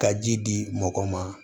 Ka ji di mɔgɔw ma